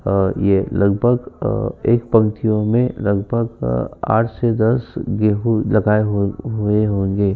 और ये लगभग अ एक पंक्तियों में लगभग अ आठ से दस गेहूं लगाए होग हुए होंगे।